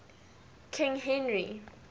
king henry